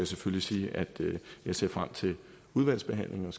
selvfølgelig sige at jeg ser frem til udvalgsbehandlingen